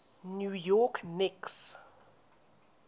new york knicks